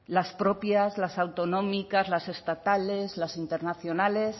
las propias las autonómicas las estatales las internacionales